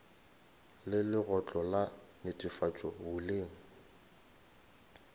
le lekgotla la netefatšo boleng